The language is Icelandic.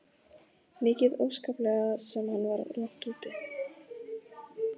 Mikið óskaplega sem hann var langt úti.